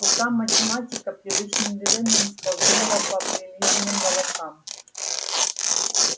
рука математика привычным движением скользнула по прилизанным волосам